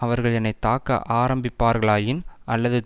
அவர்கள் என்னை தாக்க ஆரம்பிப்பார்களாயின் அல்லது